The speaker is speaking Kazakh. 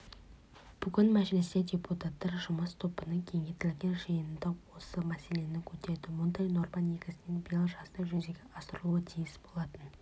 бүгін мәжілісте депутаттар жұмыс тобының кеңейтілген жиынында осы мәселені көтерді мұндай норма негізінен биыл жазда жүзеге асырылуы тиіс болатын